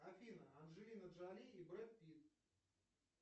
афина анджелина джоли и брэд питт